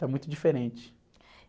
Está muito diferente.